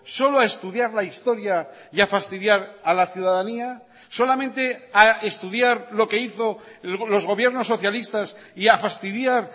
solo a estudiar la historia y a fastidiar a la ciudadanía solamente a estudiar lo que hizo los gobiernos socialistas y a fastidiar